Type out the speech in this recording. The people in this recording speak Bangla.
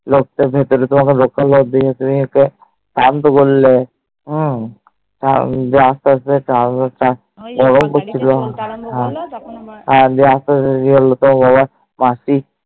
লোক তার ভেতরে তো তমার সেই শরীর কে শান্ত করলে হম দিয়ে আস্তে এস্টেট থামা যে করছিলো আর যে এত দেরি হলো ও আবার মাসি